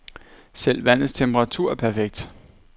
Selv vandets temperatur er perfekt.